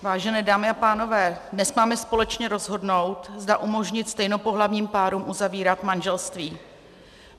Vážené dámy a pánové, dnes máme společně rozhodnout, zda umožnit stejnopohlavním párům uzavírat manželství.